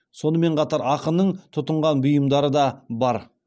сонымен қатар ақынның тұтынған бұйымдары да бар